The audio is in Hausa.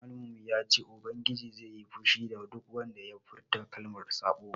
Malamin mu ya ce ubangiji zai yi fushi da duk wanda ya furta kalmar saɓo